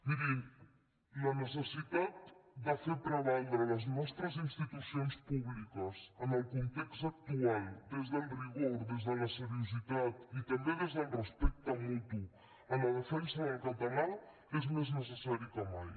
mirin la necessitat de fer prevaldre les nostres institucions públiques en el context actual des del rigor des de la seriositat i també des del respecte mutu en la defensa del català és més necessari que mai